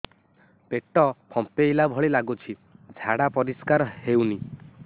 ପେଟ ଫମ୍ପେଇଲା ଭଳି ଲାଗୁଛି ଝାଡା ପରିସ୍କାର ହେଉନି